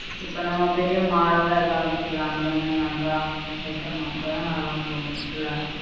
இப்ப நம்ம பெரிய mall எல்லாம் இருக்கில அந்த மாதி நல்லா வெக்கணும் அப்ப தான் நல்லா போகும்